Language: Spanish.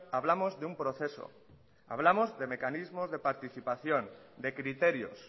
hablamos de un proceso hablamos de mecanismos de participación de criterios